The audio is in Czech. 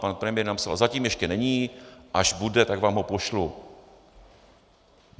Pan premiér napsal: zatím ještě není, až bude, tak vám ho pošlu.